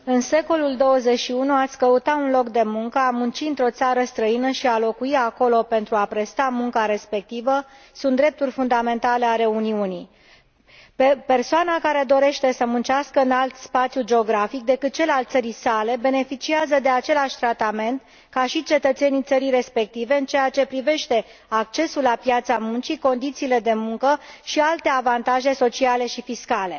Domnule președinte, în secolul XXI, a ți căuta un loc de muncă, a munci într o țară străină și a locui acolo pentru a presta munca respectivă sunt drepturi fundamentale ale Uniunii. Persoana care dorește să muncească în alt spațiu geografic decât cel al țării sale beneficiază de același tratament ca și cetățenii țării respective în ceea ce privește accesul la piața muncii, condițiile de muncă și alte avantaje sociale și fiscale.